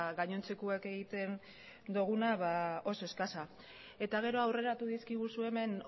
gainontzekoek egiten doguna ba oso eskasa eta gero aurreratu dizkiguzu hemen